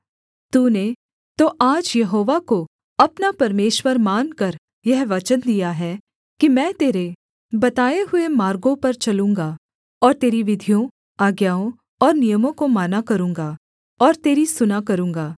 तूने तो आज यहोवा को अपना परमेश्वर मानकर यह वचन दिया है कि मैं तेरे बताए हुए मार्गों पर चलूँगा और तेरी विधियों आज्ञाओं और नियमों को माना करूँगा और तेरी सुना करूँगा